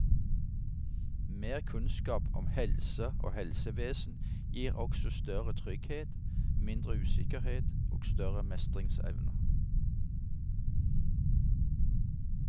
Mer kunnskap om helse og helsevesen gir også større trygghet, mindre usikkerhet og større mestringsevne.